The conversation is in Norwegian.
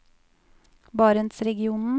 barentsregionen